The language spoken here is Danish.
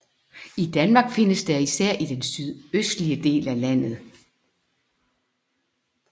I Danmark findes den især i den sydøstlige del af landet